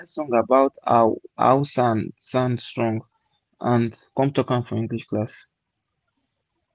i bin write song about how how san-san strong and com talk am for english class